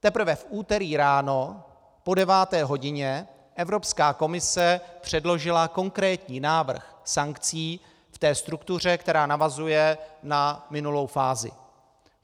Teprve v úterý ráno po deváté hodině Evropská komise předložila konkrétní návrh sankcí v té struktuře, která navazuje na minulou fázi.